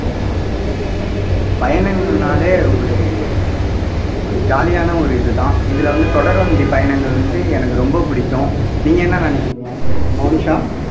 பயணங்கள்னாலே ஒரு ஒரு jolly யான ஒரு இதுதான் இதுல வந்து தொடர் வண்டி பயணங்கள் வந்து எனக்கு ரொம்ப பிடிக்கும் நீங்க என்ன நினைக்கிறீங்க மோனிஷா